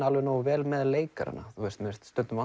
nógu vel með leikarana mér finnst stundum